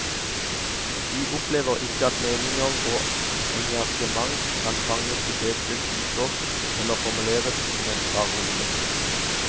De opplever ikke at meninger og engasjement kan fanges i fete typer eller formuleres som en parole.